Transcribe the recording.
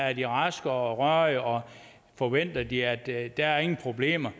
er de raske og rørige og forventer de at at der ingen problemer